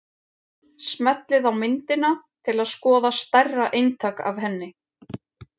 Smellið á myndina til að skoða stærra eintak af henni.